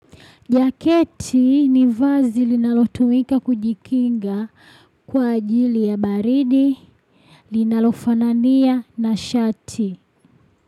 Jaketi ni vazi linalotumika kujikinga kwa ajili ya baridi linalofanania na shati.